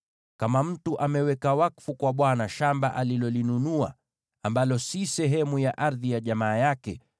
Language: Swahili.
“ ‘Kama mtu ameweka wakfu kwa Bwana shamba alilonunua, ambalo si sehemu ya ardhi ya jamaa yake,